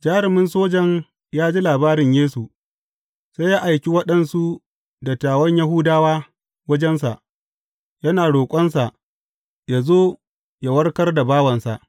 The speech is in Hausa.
Jarumin sojan ya ji labarin Yesu, sai ya aiki waɗansu dattawan Yahudawa wajensa, yana roƙonsa yă zo yă warkar da bawansa.